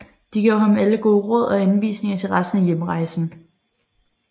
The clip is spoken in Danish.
De gav ham alle gode råd og anvisninger til resten af hjemrejsen